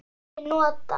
Sumir nota